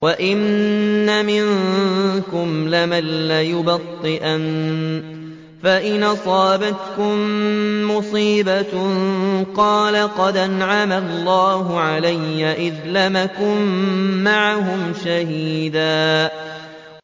وَإِنَّ مِنكُمْ لَمَن لَّيُبَطِّئَنَّ فَإِنْ أَصَابَتْكُم مُّصِيبَةٌ قَالَ قَدْ أَنْعَمَ اللَّهُ عَلَيَّ إِذْ لَمْ أَكُن مَّعَهُمْ شَهِيدًا